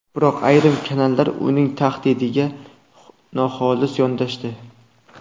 Biroq ayrim kanallar uning tanqidiga noxolis yondashdi .